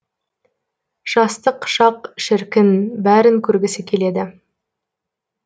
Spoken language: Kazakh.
жастық шақ шіркін бәрін көргісі келеді